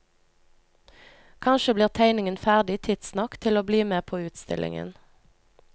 Kanskje blir tegningen ferdig tidsnok til å bli med på utstillingen.